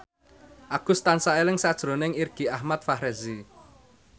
Agus tansah eling sakjroning Irgi Ahmad Fahrezi